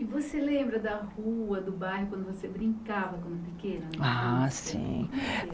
E você lembra da rua, do bairro, quando você brincava pequena? Ah sim